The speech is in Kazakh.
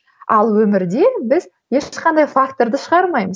ал өмірде біз ешқандай факторды шығармаймыз